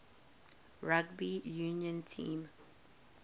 rugby union team